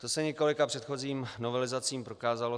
To se několika předchozím novelizacím prokázalo.